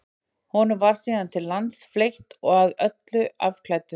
honum var síðan til lands fleytt og að öllu afklæddur